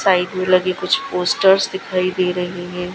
Side में लगी कुछ पोस्टर्स दिखाई दे रहे हैं।